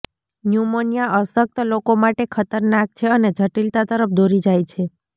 pneumonia અશક્ત લોકો માટે ખતરનાક છે અને જટીલતા તરફ દોરી જાય છે